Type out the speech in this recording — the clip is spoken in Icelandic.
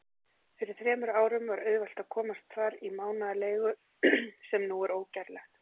Fyrir þremur árum var auðvelt að komast þar í mánaðarleigu, sem nú er ógerlegt.